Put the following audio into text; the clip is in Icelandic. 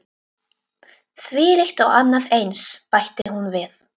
Þvílíkt og annað eins- bætti hún við.